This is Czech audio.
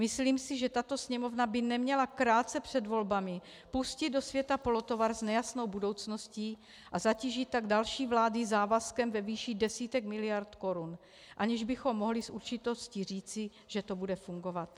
Myslím si, že tato Sněmovna by neměla krátce před volbami pustit do světa polotovar s nejasnou budoucností a zatížit tak další vlády závazkem ve výši desítek miliard korun, aniž bychom mohli s určitostí říci, že to bude fungovat.